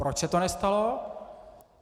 Proč se to nestalo?